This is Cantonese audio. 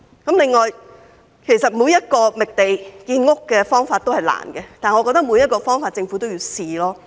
此外，其實每個覓地建屋的方法也是艱難的，但我認為每個方法政府也應嘗試。